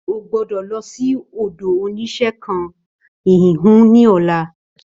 Ó gbọ́dọ̀ lọ sí ọ̀dọ̀ oníṣẹ́ nkan híhun ní ola